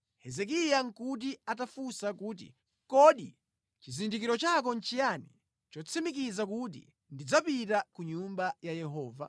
Hezekiya nʼkuti atafunsa kuti, “Kodi chizindikiro chako nʼchiyani chotsimikiza kuti ndidzapita ku Nyumba ya Yehova?”